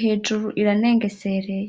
hejuru iranengesereye.